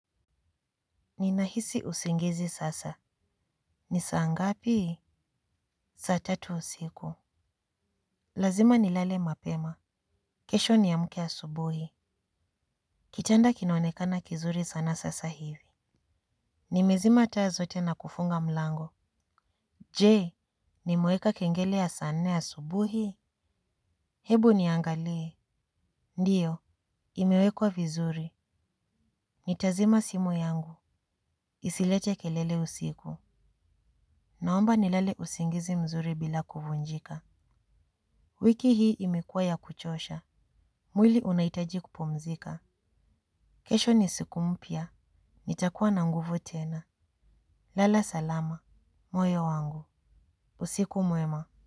Ninahisi usingizi sasa. Ni saa ngapi? Saa tatu usiku. Lazima nilale mapema. Kesho niamke asubuhi. Kitanda kinaonekana kizuri sana sasa hivi. Nimezima taa zote na kufunga mlango. Jee, nimeweka kengele ya saa nne asubuhi? Hebu niangalie. Ndiyo, imewekwa vizuri. Nitazima simu yangu. Isilete kelele usiku. Naomba nilale usingizi mzuri bila kuvunjika. Wiki hii imekuwa ya kuchosha. Mwili unaitaji kupumzika. Kesho ni siku mpya. Nitakuwa na nguvu tena. Lala salama. Moyo wangu. Usiku mwema.